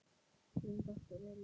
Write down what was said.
Þín dóttir Elín.